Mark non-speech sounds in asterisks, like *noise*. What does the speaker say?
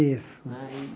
Isso. *sniffs*